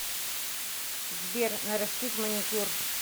сбер нарастить маникюр